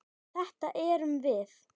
Þetta erum við.